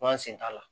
An sen t'a la